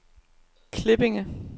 Klippinge